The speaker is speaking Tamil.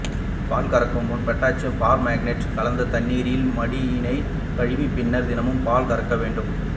பால் கறக்கும் முன் பொட்டாசியம் பர்மாங்கனேட் கலந்த தண்ணீரில் மடியினைக் கழுவிய பின்னர் தினமும் பால் கறக்க வேண்டும்